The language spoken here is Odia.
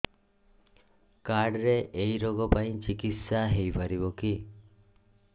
କାର୍ଡ ରେ ଏଇ ରୋଗ ପାଇଁ ଚିକିତ୍ସା ହେଇପାରିବ କି